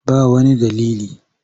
Ba wani dalili.